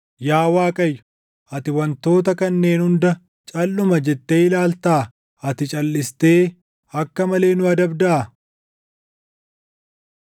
Yaa Waaqayyo, ati wantoota kanneen hunda // calʼuma jettee ilaaltaa? Ati calʼistee akka malee nu adabdaa?